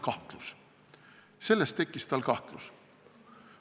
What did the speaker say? Sellest tekkis tal kahtlus.